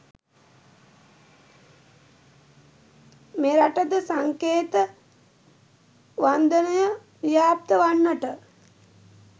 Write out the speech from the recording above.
මෙරටද සංකේත වන්දනය ව්‍යාප්ත වන්නට